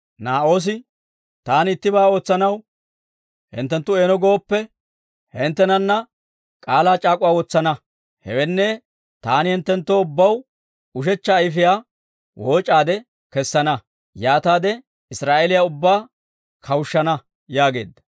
Naa'oosi, «Taani ittibaa ootsanaw hinttenttu eeno gooppe, hinttenana k'aalaa c'aak'uwaa wotsana; hewenne, taani hinttenttoo ubbaw ushechcha ayfiyaa wooc'aade kessana; yaataade Israa'eeliyaa ubbaa kawushshana» yaageedda.